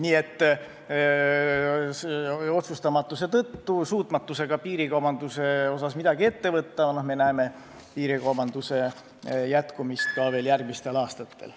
Nii et otsustusvõimetuse tõttu, suutmatuse tõttu piirikaubanduse osas midagi ette võtta näeme piirikaubanduse jätkumist ka järgmistel aastatel.